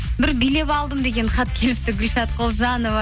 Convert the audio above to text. бір билеп алдым деген хат келіпті гүлшат құлжанова